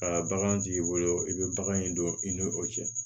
Ka bagan jigi bolo i bɛ bagan in don i ni o cɛ